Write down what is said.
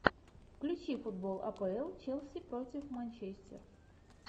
включи футбол апл челси против манчестер